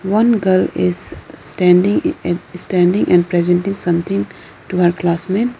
one girl is standing ah standing and presenting something to her classmate.